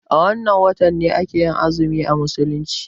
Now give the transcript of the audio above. A wanne wata ake yin azumi a musulunci?